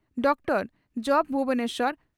ᱩᱛᱠᱚᱲ ᱡᱹᱵᱹ ᱵᱷᱩᱵᱚᱱᱮᱥᱚᱨ ᱾